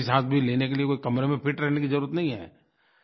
गहरी साँस भी लेने के लिये कोई कमरे में फिट रहने की ज़रुरत नहीं है